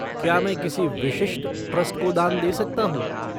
क्या मैं किसी विशिष्ट ट्रस्ट को दान दे सकता हूँ?